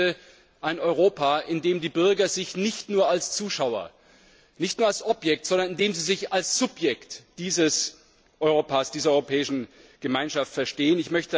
Ich möchte ein Europa, in dem sich die Bürger nicht nur als Zuschauer, nicht nur als Objekt, sondern in dem sie sich als Subjekt dieser Europäischen Gemeinschaft verstehen.